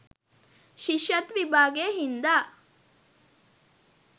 ශිෂ්‍යත්ව විභාගය හින්දා.